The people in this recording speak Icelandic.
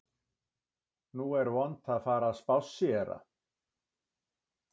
Nú er vont að fara að spásséra